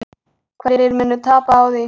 Hverjir munu tapa á því?